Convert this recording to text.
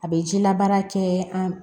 A bɛ jila baara kɛ an